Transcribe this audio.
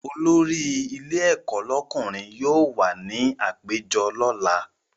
Olórí ilé ẹ̀kọ́ lọ́kùnrin yóò wà ní àpéjọ lọ́la